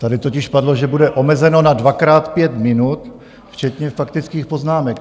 Tady totiž padlo, že bude omezeno na dvakrát pět minut včetně faktických poznámek.